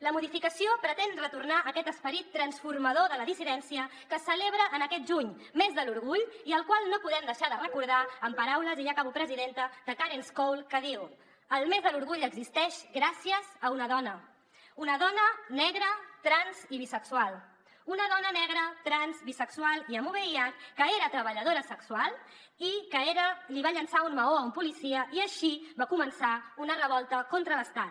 la modificació pretén retornar aquest esperit transformador de la dissidència que es celebra aquest juny mes de l’orgull i el qual no podem deixar de recordar amb paraules i ja acabo presidenta de karence cole que diu el mes de l’orgull existeix gràcies a una dona una dona negra trans i bisexual una dona negra trans bisexual i amb vih que era treballadora sexual i que li va llançar un maó a un policia i així va començar una revolta contra l’estat